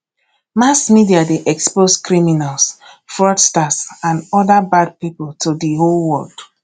mass media de expose criminals fraudsters and other bad pipo to di whole world